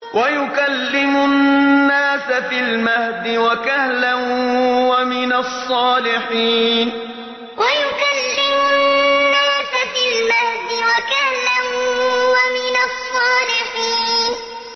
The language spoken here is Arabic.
وَيُكَلِّمُ النَّاسَ فِي الْمَهْدِ وَكَهْلًا وَمِنَ الصَّالِحِينَ وَيُكَلِّمُ النَّاسَ فِي الْمَهْدِ وَكَهْلًا وَمِنَ الصَّالِحِينَ